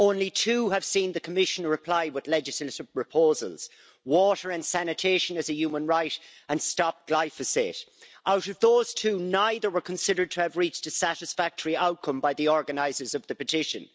Only two have seen the Commission reply with legislative proposals Water and sanitation is a human right and Stop glyphosate Out of those two, neither were considered to have reached a satisfactory outcome by the organisers of the petition.